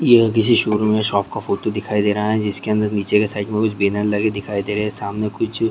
यह किसी शोरूम में शॉप का फोटो दिखाई दे रहा है जिसके अंदर नीचे की साइड में कुछ बैनर लगे दिखाई दे रहे है सामने कुछ --